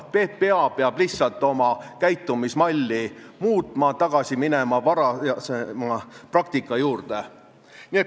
PPA peab lihtsalt oma käitumismalli muutma, tagasi minema varasema praktika juurde.